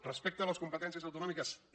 respecte a les competències autonòmiques també